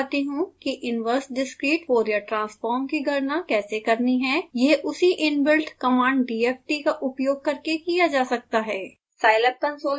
अब मैं आपको दिखाता हूँ कि इनवर्स डिस्क्रीट fourier transform की गणना कैसे करनी है यह उसी इनबिल्ड कमांड dft का उपयोग करके किया जा सकता है